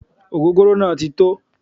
Ogogoro naa ti tó